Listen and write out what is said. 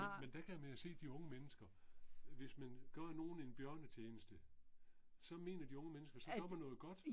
Men der kan man jo se de unge mennesker. Hvis man gør nogen en bjørnetjeneste, så mener de unge mennesker så gør man noget godt